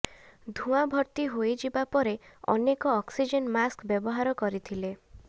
ଧୂଆଁ ଭର୍ତ୍ତି ହୋଇଯିବା ପରେ ଅନେକ ଅକ୍ସିଜେନ୍ ମାସ୍କ ବ୍ୟବହାର କରିଥିଲେ